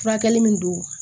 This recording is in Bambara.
Furakɛli min don